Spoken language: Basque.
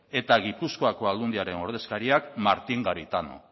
eta gipuzkoako aldundiaren ordezkariak martin garitano